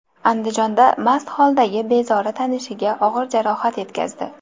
Andijonda mast holdagi bezori tanishiga og‘ir jarohat yetkazdi.